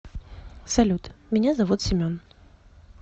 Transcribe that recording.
салют меня зовут семен